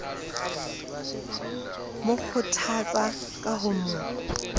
mo kgothatsa ka ho mo